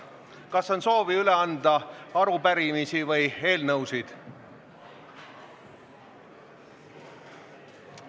Kas on soovi üle anda arupärimisi või eelnõusid?